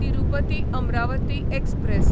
Tirupati Amaravati express